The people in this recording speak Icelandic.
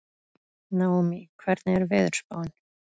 Naómí, hvernig er veðurspáin?